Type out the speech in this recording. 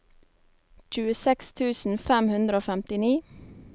tjueseks tusen fem hundre og femtini